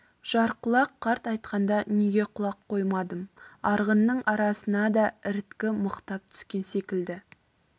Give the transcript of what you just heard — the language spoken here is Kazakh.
жарқұлақ қарт айтқанда неге құлақ қоймадым арғынның арасына да іріткі мықтап түскен секілді